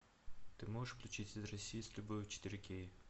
ты можешь включить из россии с любовью четыре кей